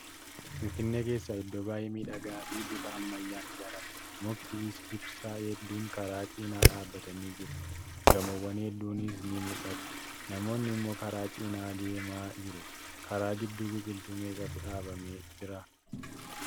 Finfinnee keessaa iddoo baay'ee miidhagaa fi bifa ammayyaan ijaaramedha. Mukti ibsaa hedduun karaa jinaa dhaabbatanii jiru. Gamoowwaan hedduunis ni mul'atu. Namoonni immoo karaa cinaa deemaa jiru. Karaa gidduu Biqiltuu meeqatu dhaabamee jira?